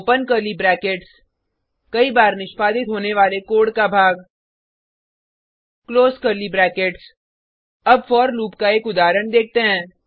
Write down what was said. open curly brackets कई बार निष्पादित होने वाला कोड का भाग क्लोज कर्ली ब्रैकेट्स अब फोर लूप का एक उदाहरण देखते हैं